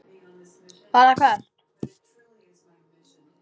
Fara hvert?